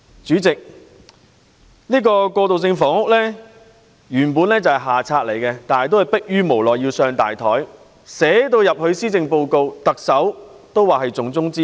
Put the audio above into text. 主席，過渡性房屋原本是下策，但逼於無奈而要寫在施政報告之內，特首更說這是重中之重。